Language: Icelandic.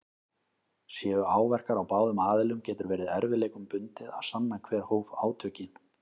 Séu áverkar á báðum aðilum getur verið erfiðleikum bundið að sanna hver hóf átökin.